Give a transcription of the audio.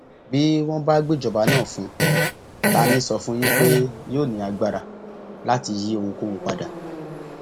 bí wọn bá gbéjọba náà fún un ta ní sọ fún yín pé yóò ní agbára láti yí ohunkóhun padà